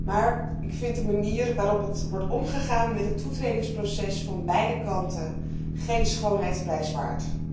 Maar ik vind de manier waarop wordt omgegaan met het toetredingsproces van beide kanten geen schoonheidsprijs waard.